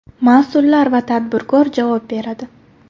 Mas’ullar va tadbirkor javob beradi.